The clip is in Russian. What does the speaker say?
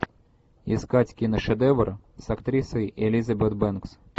искать киношедевр с актрисой элизабет бэнкс